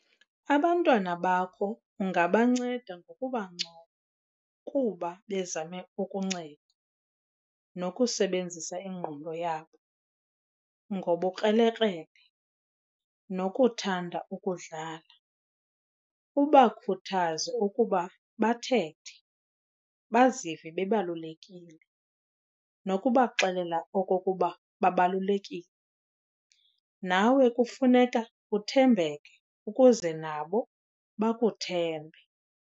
Abantwana bakho ungabanceda ngokubancoma kuba bezame ukunceda nokusebenzisa ingqondo yabo, ngobukrelekrele nokuthanda ukudlala, ubakhuthaze ukuba bathethe, bazive bebalulekile nokubaxelela okokuba babalulekile, nawe kufuneka uthembeke ukuze nabo bakuthembe.